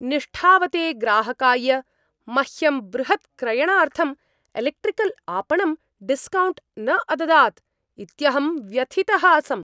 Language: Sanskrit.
निष्ठावते ग्राहकाय मह्यं बृहत्क्रयणार्थं एलेक्ट्रिकल् आपणं डिस्कौण्ट् न अददात् इत्यहं व्यथितः आसम्।